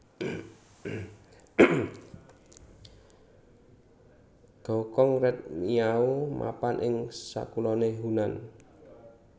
Ghao Xong Red Miao mapan ing sakuloné Hunan